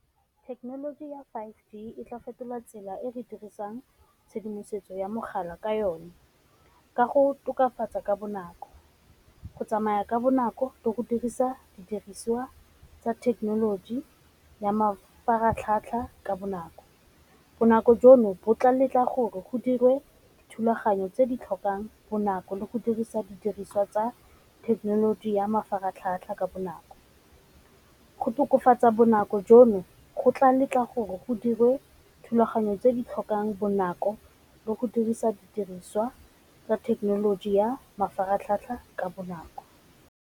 Thekenoloji ya five G e tla fetola tsela e re dirisang tshedimosetso ya mogala ka yone ka go tokafatsa ka bonako, go tsamaya ka bonako le go dirisa didiriswa tsa thekenoloji ya mafaratlhatlha ka bonako, bonako jono bo tla letla gore go dirwe thulaganyo tse di tlhokang bonako le go dirisa didiriswa tsa thekenoloji ya mafaratlhatlha ka bonako, go tokafatsa tsa bonako jono go tla letla gore go dirwe thulaganyo tse di tlhokang bonako le go dirisa didiriswa tsa thekenoloji ya mafaratlhatlha ka bonako.